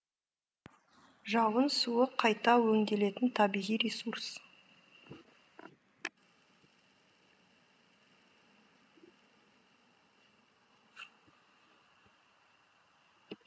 жауын суы қайта өңделетін табиғи ресурс